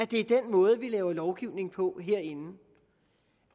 det er den måde vi laver lovgivning på herinde